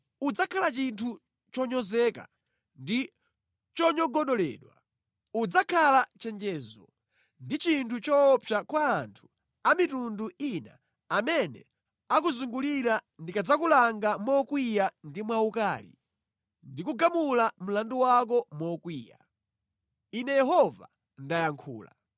Udzakhala chinthu chonyozeka ndi chonyogodoledwa. Udzakhala chenjezo ndi chinthu choopsa kwa anthu a mitundu ina amene akuzungulira ndikadzakulanga mokwiya ndi mwaukali ndi kugamula mlandu wako mokwiya. Ine Yehova ndayankhula.